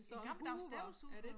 En gammeldags støvsuger